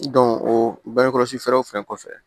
o bangekɔlɔsi fɛɛrɛw fɛn kɔfɛ